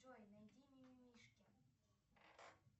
джой найди ми ми мишки